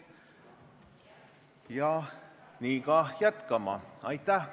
Ja nii ka jätkama.